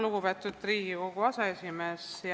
Lugupeetud Riigikogu aseesimees!